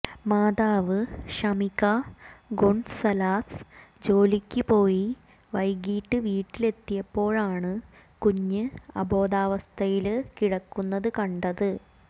മാതാവ് ഷമിക ഗൊണ്സാലസ് ജോലിക്ക് പോയി വൈകിട്ട് വീട്ടിലെത്തിയപ്പോഴാണ് കുഞ്ഞ് അബോധാവസ്ഥയില് കിടക്കുന്നത് കണ്ടത്